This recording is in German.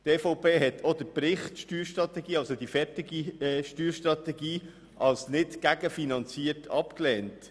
Die EVP hat auch den Bericht der fertigen Steuerstrategie als nicht gegenfinanziert abgelehnt.